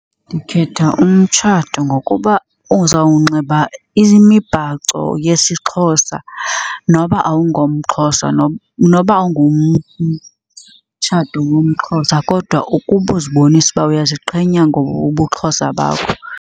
Ndikhetha umtshato ngokuba uzawunxiba imibhaco yesiXhosa noba awungomXhosa noba ngumtshato womXhosa kodwa ukuba uzibonise uba uyaziqhenya ngobuXhosa bakho.